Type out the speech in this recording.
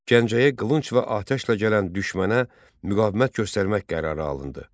Gəncəyə lünc və atəşlə gələn düşmənə müqavimət göstərmək qərarı alındı.